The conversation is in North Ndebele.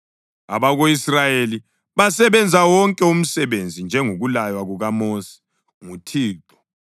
Abako-Israyeli basebenza wonke umsebenzi njengokulaywa kukaMosi nguThixo.